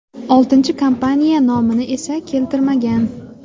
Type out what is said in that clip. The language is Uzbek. Oltinchi kompaniya nomini esa keltirmagan.